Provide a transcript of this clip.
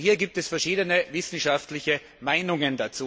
Hierzu gibt es verschiedene wissenschaftliche Meinungen.